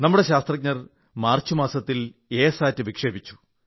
നമ്മുടെ ശാസ്ത്രജ്ഞർ മാർച്ച് മാസത്തിൽ എ സാറ്റ് വിക്ഷേപിച്ചു